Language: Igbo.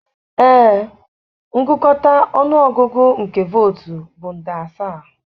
ee, ngụkọta ọnụ ọgụgụ nke vootu bụ nde asaa.